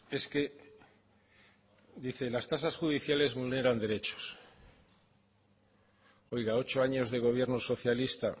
es que dice las tasas judiciales vulneran derechos oiga ocho años de gobierno socialista